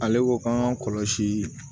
Ale ko k'an kɔlɔsi